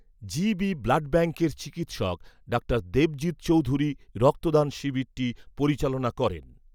GB blood ব্যাংকের চিকিৎসক ডা দেবজিৎ চৗেধুরী রক্তদান শিবিরটা পরিচালনা করেন।